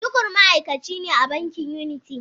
Tukur ma’aikaci ne a bankin Unity.